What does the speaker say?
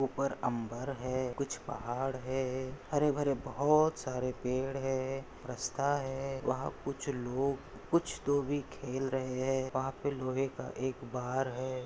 ऊपर उम्बर है कुछ पहाड़ है हरे भरे बहूत सारे पेड़ है रास्ता है वाहा कुछ लोग कुछ तो भी खेल रहे है लोहे का एक बार है।